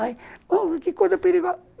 Ai, que coisa perigosa.